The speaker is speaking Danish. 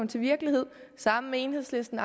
til virkelighed sammen med enhedslisten